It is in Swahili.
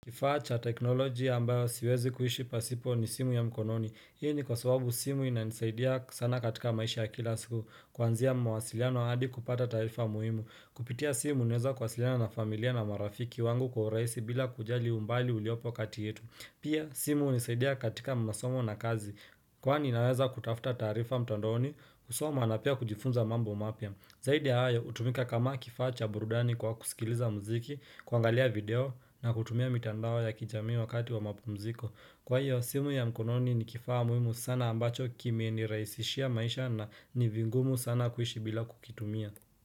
Kifacha teknolojia ambayo siwezi kuishi pasipo ni simu ya mkononi Hii ni kwa sababu simu inanisaidia sana katika maisha ya kila siku Kwanzia mwasiliano hadi kupata taarifa muhimu Kupitia simu unaweza kuwasiliana na familia na marafiki wangu kwa urahisi bila kujali umbali uliopo kati yetu Pia simu unisaidia katika masomo na kazi Kwani inaweza kutafuta taarifa mtandaoni kusoma na pia kujifunza mambo mapya Zaidi ya hayo hutumika kama kifaa cha burudani kwa kusikiliza mziki kuangalia video na kutumia mitandao ya kijamii wakati wa mapumziko Kwa hiyo, simu ya mkononi ni kifaa muhimu sana ambacho Kimeniraisishia maisha na ni vingumu sana kuishi bila kukitumia.